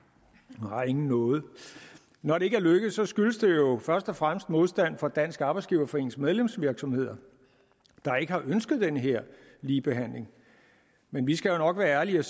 nej ingen nåde når det ikke er lykkedes skyldes det jo først og fremmest modstand fra dansk arbejdsgiverforenings medlemsvirksomheder der ikke har ønsket den her ligebehandling men vi skal jo nok være ærlige og